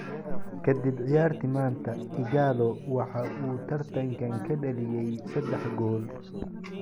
Kadib ciyaartii maanta, Ighalo waxa uu tartankan ka dhaliyay saddex gool.